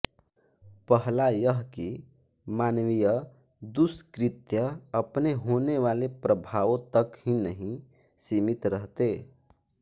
पहला यह कि मानवीय दुष्कृत्य अपने होनेवाले प्रभावों तक ही नहीं सीमित रहते